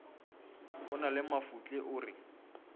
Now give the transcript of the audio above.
na le mafotle o re